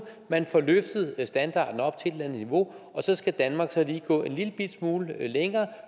man får løftet standarden op til andet niveau og så skal danmark så lige gå en lillebitte smule længere